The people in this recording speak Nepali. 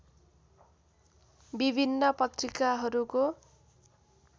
विभिन्न पत्रिकाहरूको